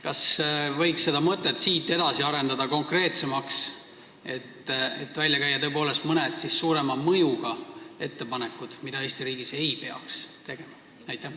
Kas võiks seda mõtet arendada konkreetsemaks ja välja käia tõepoolest mõned suurema mõjuga ettepanekud selle kohta, mida Eesti riigis ei peaks tegema?